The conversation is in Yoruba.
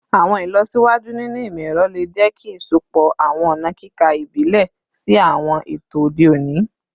Awọn ilọsiwaju ninu imọ-ẹrọ le jẹ ki isọpọ awọn ọna kika ibile si awọn eto ode oni